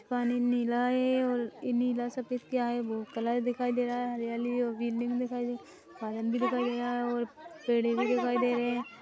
पानी नीला है और नीला सफ़ेद क्या है वो कलर दिखाई दे रहा है हरियाली और बिल्डिंग भी दिखाई दे पायन भी दिखाई दे रहा है और पेड़ें भी दिखाई दे रहे हैं।